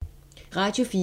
Radio 4